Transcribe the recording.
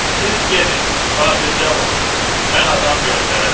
Siz gedin, xatircəm olun, mən adam göndərərəm.